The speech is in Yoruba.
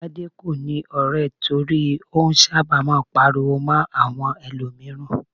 Tade kò ní ọ̀rẹ́ torí ó sábà máa ń pariwo mọ́ àwọn ẹlòmíràn.